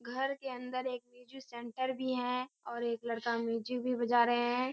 घर के अंदर एक म्यूजिक सेंटर भी है और एक लड़का म्यूजिक भी बजा रहे है।